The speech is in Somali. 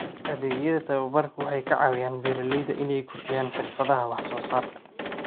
Adeegyada tababarku waxay ka caawiyaan beeralayda inay kordhiyaan xirfadaha wax soo saarka.